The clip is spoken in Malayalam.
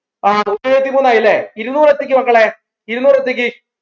ആഹ് നൂറ്റി ഏഴുവത്തിമൂന്നായല്ലേ ആയല്ലേ ഇരുന്നൂർ ത്തിക്ക് മക്കളെ ഇരുന്നൂർ ത്തിക്ക്